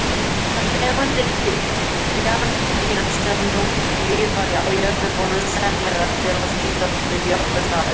Þær tegundir bjarndýra sem nú lifa á jörðinni voru sennilega til á síðasta jökulskeiði ísaldar.